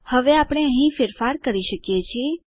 હવે આપણે અહીં ફેરફાર કરી શકીએ છીએ